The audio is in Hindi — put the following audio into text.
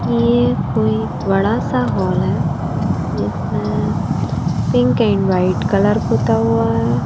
ये कोई बड़ा सा हॉल है जिसमें पिंक एंड व्हाइट कलर पुता हुआ है।